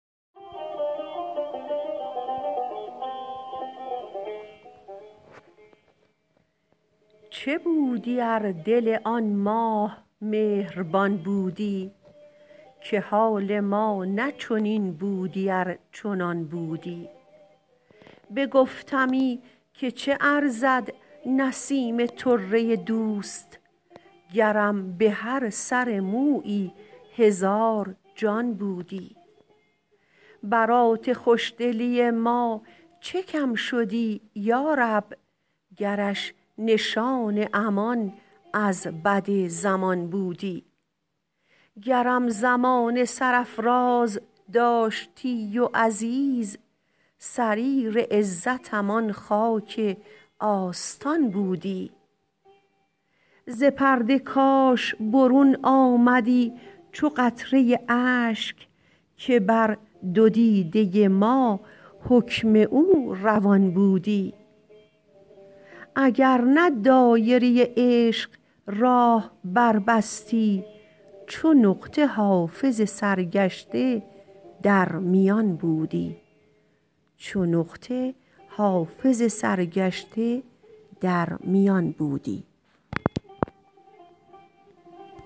چه بودی ار دل آن ماه مهربان بودی که حال ما نه چنین بودی ار چنان بودی بگفتمی که چه ارزد نسیم طره دوست گرم به هر سر مویی هزار جان بودی برات خوش دلی ما چه کم شدی یا رب گرش نشان امان از بد زمان بودی گرم زمانه سرافراز داشتی و عزیز سریر عزتم آن خاک آستان بودی ز پرده کاش برون آمدی چو قطره اشک که بر دو دیده ما حکم او روان بودی اگر نه دایره عشق راه بربستی چو نقطه حافظ سرگشته در میان بودی